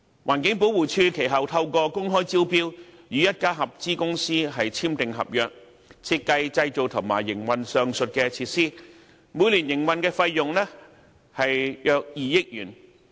環境保護署其後透過公開招標，與一家合資公司簽訂合約，設計、製造、營運上述設施，每年營運費用約2億元。